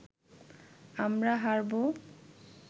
আমরা হারবো